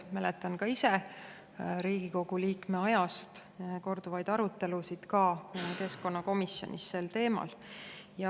Mäletan ka ise Riigikogu liikme ajast korduvaid arutelusid keskkonnakomisjonis sel teemal.